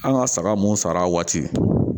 An ka saga mun sara waati